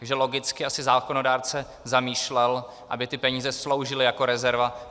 Takže logicky asi zákonodárce zamýšlel, aby ty peníze sloužily jako rezerva.